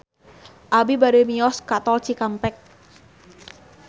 Abi bade mios ka Tol Cikampek